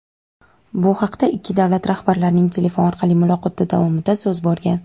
Bu haqda ikki davlat rahbarlarining telefon orqali muloqoti davomida so‘z borgan.